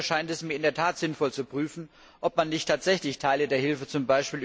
Daneben erscheint es mir in der Tat sinnvoll, zu prüfen, ob man nicht tatsächlich Teile der Hilfe z.